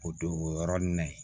O don o yɔrɔnin na yen